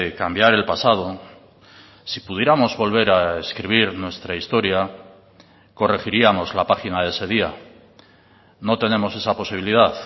cambiar el pasado si pudiéramos volver a escribir nuestra historia corregiríamos la página de ese día no tenemos esa posibilidad